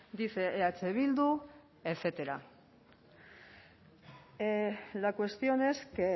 dice eh bildu etcétera la cuestión es que